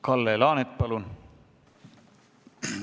Kalle Laanet, palun!